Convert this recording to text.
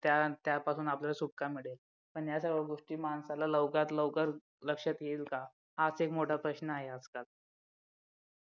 त्या त्यापासून आपल्याला सुटका मिळेल पण या सगळ्या गोष्टी माणसाला लवकरात लवकर लक्षात येईल का हाच एक मोठा प्रश्न आहे आज-काल